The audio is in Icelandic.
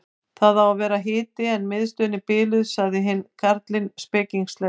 Það á að vera hiti en miðstöðin er biluð sagði hinn karlinn spekingslega.